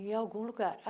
em algum lugar.